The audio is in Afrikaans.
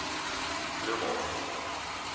bloemhof